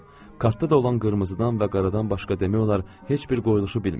Kartda da olan qırmızıdan və qaradan başqa demək olar heç bir qoyuluşu bilmirdim.